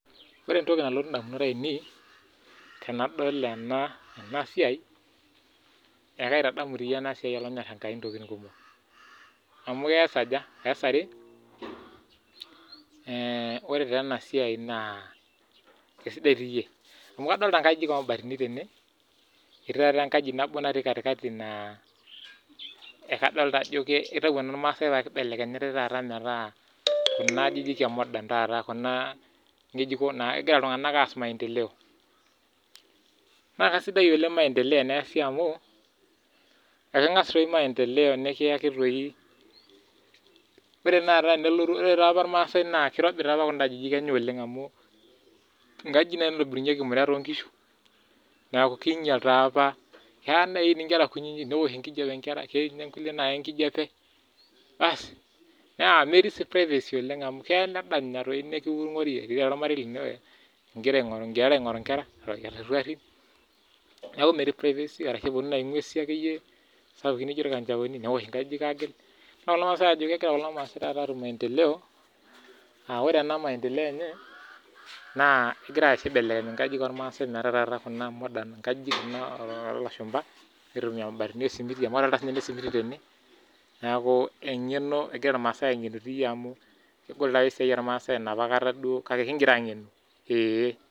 Ore entoki nalotu edamunot ainei tenadol ena siai ekaitadamu ena siai entokitin kumok amu eas are ore ena siai naa kisidai amu adolita nkajijik oo mabatini tene etii taata enkaji nabo natii katikati naa ekidolita Ajo kiata enormaasai kake kibelekenyitai metaa Kuna ajijik ee modern Kuna ngejuko naa kegira iltung'ana aas maendeleo naa kisidai oleng maendeleo teniasi amu keng'as doi maendeleo nikiyaki doi ore taa apa irmaasai naakirobi apa kuda ajijik enye olang amu nkajijik naitobirunyieki imurat oo nkishu neeku kinyial keeya neyuni Nkera kutiti neoshi enkijiape ketii kulie nayaa enkijiape naa metii sii privacy oleng amu keya arashu epuonu ng'uesi sapukin naijio irkanjaoni neoshi nkajijik agil neeku kegira taata irmaasai atum maendeleo aa ore ena maendeleo ene naa kegira aibelekeny enkajijik ormaasai metaa Kuna modern nkajijik Kuna oo lashumba aitumia mabatini wee simiti amu adolita sininye ene simiti tene neeku eng'eno egira irmaasai ang'enu amu kegol apa esiai ormasai enapakata duo kake kigira ang'enu